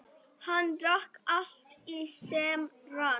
Hann drakk allt sem rann.